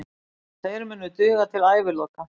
Þeir munu duga til æviloka.